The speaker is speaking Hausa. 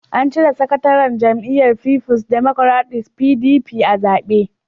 An cire sakataren jam'iyyar Fifuls Democratic (PDP) a zabe.